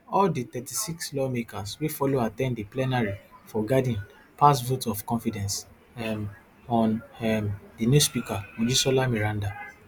all di thirtysix lawmakers wey follow at ten d di plenary for garden pass vote of confidence um on um di new speaker mojisola meranda